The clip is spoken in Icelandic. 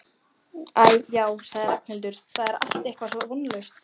Æ, já sagði Ragnhildur, það er allt eitthvað svo vonlaust